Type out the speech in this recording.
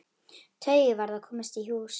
Tauið varð að komast í hús.